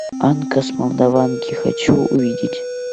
анка с молдаванки хочу увидеть